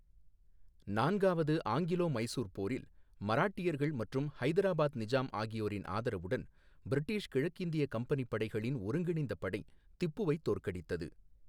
நான்காவது ஆங்கிலோ மைசூர் போரில், மராட்டியர்கள் மற்றும் ஹைதராபாத் நிஜாம் ஆகியோரின் ஆதரவுடன் பிரிட்டிஷ் கிழக்கிந்திய கம்பெனி படைகளின் ஒருங்கிணைந்த படை திப்புவை தோற்கடித்தது.